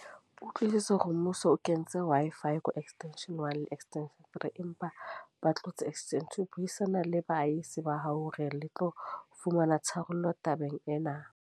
Utlwisise hore mmuso o kentswe Wi-Fi ko extension one, le extension three. Empa ba tlotse extension two. Buisana le baahisane ba hao hore le tlo fumana tharollo tabeng ena.